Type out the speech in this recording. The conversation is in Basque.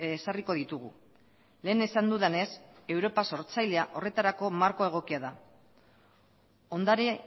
ezarriko ditugu lehen esan dudanez europa sortzailea horretarako marko egokia da ondare